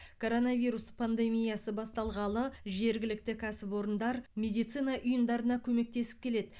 коронавирус пандемиясы басталғалы жергілікті кәсіпорындар медицина ұйымдарына көмектесіп келеді